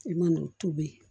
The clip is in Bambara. I man'o tobi